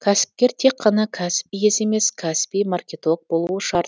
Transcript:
кәсіпкер тек қана кәсіп иесі емес кәсіби маркетолог болуы шарт